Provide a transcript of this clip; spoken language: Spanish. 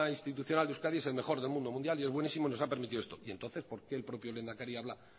institucional de euskadi es el mejor del mundo mundial y es buenísimo y nos ha permitido esto y entonces por qué el propio lehendakari habla